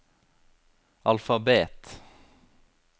alfabet